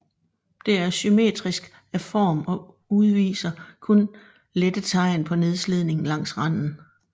Det er symmetrisk af form og udviser kun lette tegn på nedslidning langs randen